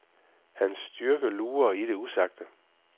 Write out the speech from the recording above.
Hans styrke lurer i det usagte.